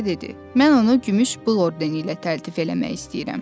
Mən onu gümüş bığ ordeni ilə təltif eləmək istəyirəm.